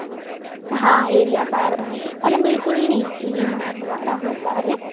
હા એરીયા સારો અને બિલકુલ નીચલી નાથ વાળા હતા